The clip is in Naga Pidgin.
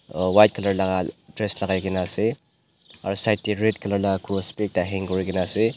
uuuh white colour la dress lakaikaena ase aro side tae red colour la cross bi ekta hang kurikaena ase.